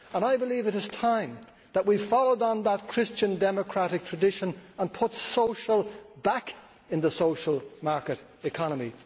I believe it is time that we followed on from that Christian Democratic tradition and put social' back in the social market economy.